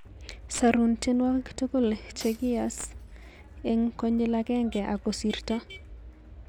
Sarun tienwogik tugul chekiass eng konyil ageng ang kosirto